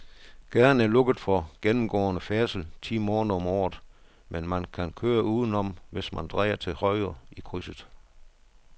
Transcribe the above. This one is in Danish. Gaden er lukket for gennemgående færdsel ti måneder om året, men man kan køre udenom, hvis man drejer til højre i krydset.